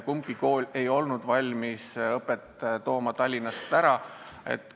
Kumbki kool ei olnud valmis õpet Tallinnast ära tooma.